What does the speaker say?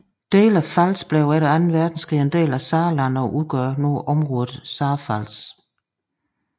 Dele af Pfalz blev efter anden verdenskrig en del af Saarland og udgør området Saarpfalz